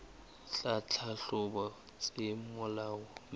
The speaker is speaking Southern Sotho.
tsa tlhahlobo tse molaong mme